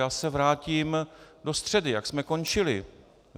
Já se vrátím do středy, jak jsme končili.